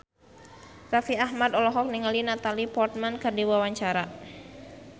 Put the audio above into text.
Raffi Ahmad olohok ningali Natalie Portman keur diwawancara